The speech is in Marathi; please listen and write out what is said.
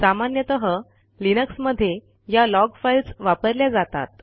सामान्यतः लिनक्समध्ये या लॉग फाईल्स वापरल्या जातात